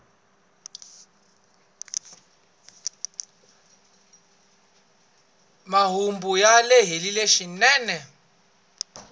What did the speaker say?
marhumbu ya lehile swinene